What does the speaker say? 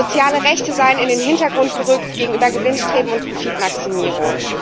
Soziale Rechte seien in den Hintergrund gerückt gegenüber Gewinnstreben und Profitmaximierung.